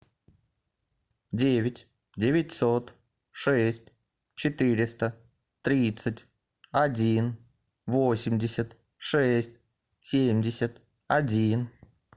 девять девятьсот шесть четыреста тридцать один восемьдесят шесть семьдесят один